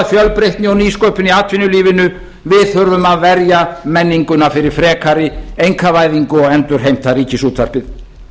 fjölbreytni og nýsköpun í atvinnulífinu við þurfum að verja menninguna fyrir frekari einkavæðingu og endurheimta ríkisútvarpið